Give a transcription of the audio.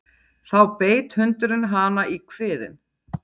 Þá beit hundurinn hana í kviðinn